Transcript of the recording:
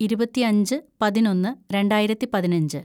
ഇരുപത്തിയഞ്ച് പതിനൊന്ന് രണ്ടായിരത്തി പതിനഞ്ച്‌